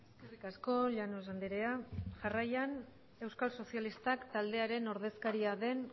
eskerrik asko llanos andrea jarraian euskal sozialistak taldearen ordezkaria den